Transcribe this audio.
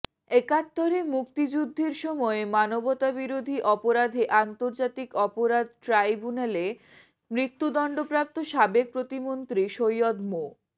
একাত্তরে মুক্তিযুদ্ধের সময় মানবতাবিরোধী অপরাধে আন্তর্জাতিক অপরাধ ট্রাইব্যুনালে মৃত্যুদণ্ডপ্রাপ্ত সাবেক প্রতিমন্ত্রী সৈয়দ মো